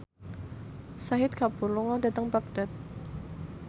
Shahid Kapoor lunga dhateng Baghdad